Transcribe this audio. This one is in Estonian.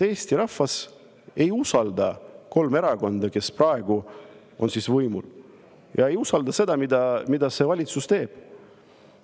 Eesti rahvas ei usalda kolme erakonda, kes praegu on võimul, ja ei usalda seda, mida see valitsus teeb.